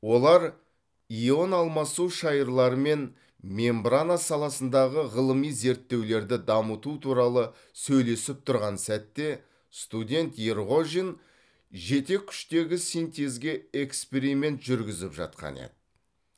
олар ион алмасу шайырлары мен мембрана саласындағы ғылыми зерттеулерді дамыту туралы сөйлесіп тұрған сәтте студент ерғожин жетеккүштегі синтезге эксперимент жүргізіп жатқан еді